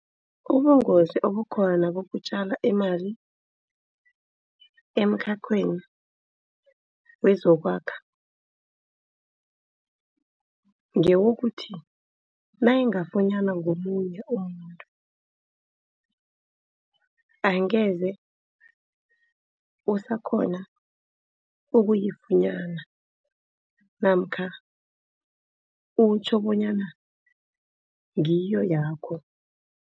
Ubungozi obukhona bokutjala imali emkhakheni wezokwakha ngewokuthi nayingafunyanwa ngomunye umuntu. Angeze usakghona ukuyifunyana namkha utjho bonyana ngiyo yakho.